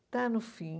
Está no fim.